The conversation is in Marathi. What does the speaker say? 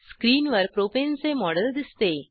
स्क्रीनवर प्रोपेन चे मॉडेल दिसते